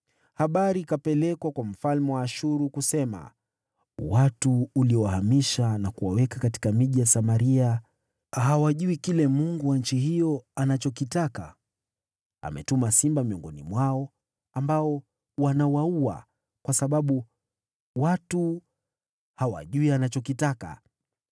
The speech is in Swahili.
Habari ikapelekwa kwa mfalme wa Ashuru, kusema: “Watu uliowahamisha na kuwaweka katika miji ya Samaria hawajui kile Mungu wa nchi hiyo anachokitaka. Ametuma simba miongoni mwao, ambao wanawaua, kwa sababu watu hawajui anachokitaka.”